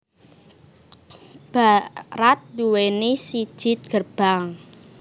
Barat duwéni siji gerbang